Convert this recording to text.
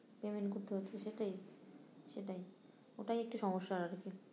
Payment করতে হচ্ছে সেটাই সেটাই ওটাই একটি সমস্যার আরকি